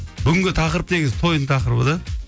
түгінгі тақырып негізі тойдың тақырыбы да